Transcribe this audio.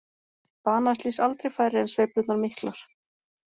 Banaslys aldrei færri en sveiflurnar miklar